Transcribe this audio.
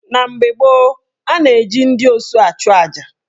Na mgbe gboo, a na-eji ndị osu achuaja.